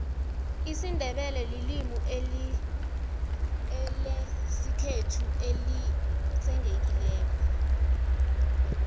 isindebele lilimulesikhethu elitsenqekileko